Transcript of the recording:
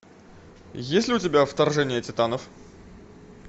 есть ли у тебя вторжение титанов